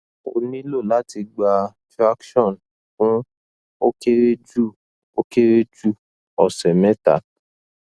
o nilo lati gba traction fun o kere ju o kere ju ose meta